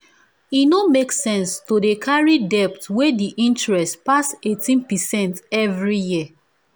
e no make sense to dey carry debt wey the interest pass 18 percent every year